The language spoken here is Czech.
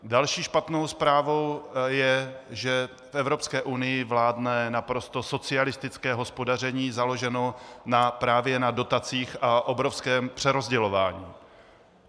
Další špatnou zprávou je, že v Evropské unii vládne naprosto socialistické hospodaření založené právě na dotacích a obrovském přerozdělování.